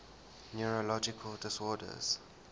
neurological disorders